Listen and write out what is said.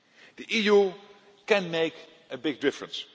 The EU can make a big difference.